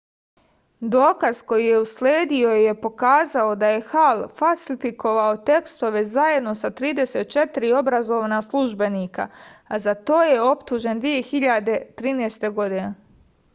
dokaz koji je usledio je pokazao da je hal falsifikovao testove zajedno sa 34 obrazovna službenika a za to je optužen 2013